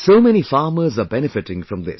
So many farmers are benefiting from this